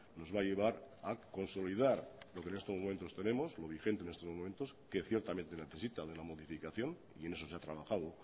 nos va a llevar a consolidar lo que en estos momentos tenemos lo vigente en estos momentos que ciertamente necesita de la modificación y en eso se ha trabajado